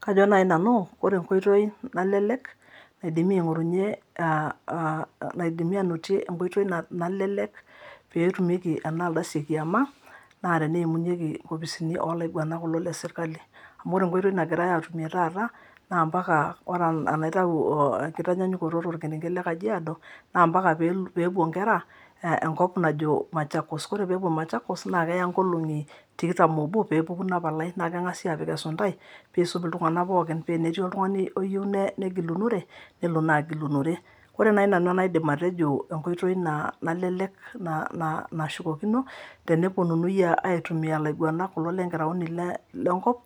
Kajo naaji nanu ore enkoitoi nalelek naidimi aanotie enkoitoi nalelek pee etumieki ena ardasi e kiama naa teneimunyieki enkoposini ooh laiguanak kulo Le serikali amu ore enkoitoi nagirae aatumie taata naa mbaka ore enaitayu enkitanyaanyukoto tolkrenket Le kajiado naa mbaka pee epuo inkera enkop najo machakos ore pee epuo machakos naa keya ingologi tikitam oobo pee epuku Ina palai naa kegasi aapik esuntai pee isum iltunganak pooki paa tenetii oltungani oyieu negilunore nelo naa agilunore ore naaji nanu enaidim atejo enkoitoi nalelek nashukokino teneponunui aitumia ilaiguanak kulo lenkiraoni Lenkop